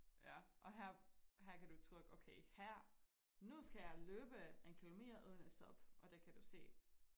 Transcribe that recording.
Ja og her her kan du trykke okay her nu skal jeg løbe en kilometer uden at stop og der kan du se